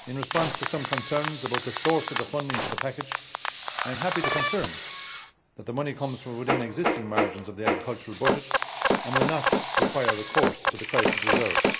In response to some concerns about the source of the funding for the package, I am happy to confirm that the money comes from within the existing margins of the agricultural budget and will not require recourse to the Crisis Reserve.